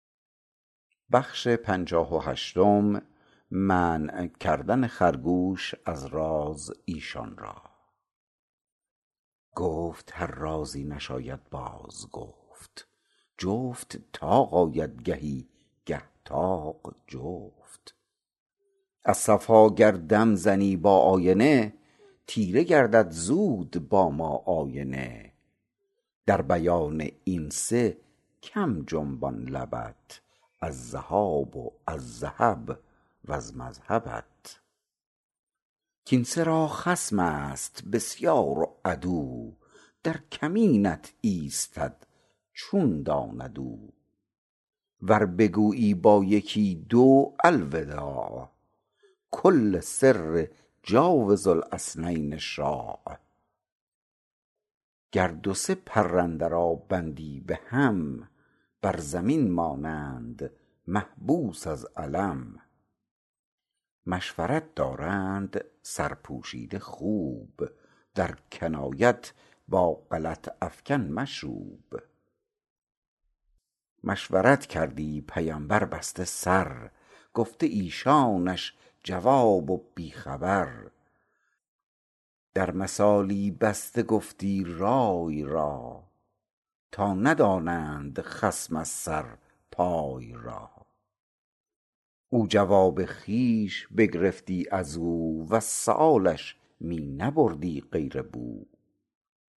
گفت هر رازی نشاید باز گفت جفت طاق آید گهی گه طاق جفت از صفا گر دم زنی با آینه تیره گردد زود با ما آینه در بیان این سه کم جنبان لبت از ذهاب و از ذهب وز مذهبت کین سه را خصمست بسیار و عدو در کمینت ایستد چون داند او ور بگویی با یکی دو الوداع کل سر جاوز الاثنین شاع گر دو سه پرنده را بندی بهم بر زمین مانند محبوس از الم مشورت دارند سرپوشیده خوب در کنایت با غلط افکن مشوب مشورت کردی پیمبر بسته سر گفته ایشانش جواب و بی خبر در مثالی بسته گفتی رای را تا ندانند خصم از سر پای را او جواب خویش بگرفتی ازو وز سؤالش می نبردی غیر بو